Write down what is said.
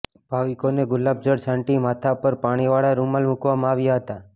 ભાવિકોને ગુલાબજળ છાંટી માથા પર પાણીવાળા રૃમાલ મૂકવામાં આવ્યા હતા